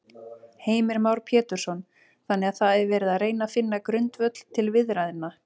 Heimir Már Pétursson: Þannig að það er verið að reyna finna grundvöll til viðræðna?